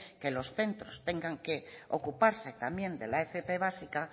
que los centros tengan que ocuparse también de la fp básica